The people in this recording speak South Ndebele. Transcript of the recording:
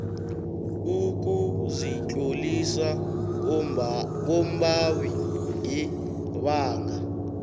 ukuzitlolisa kombawi ngebanga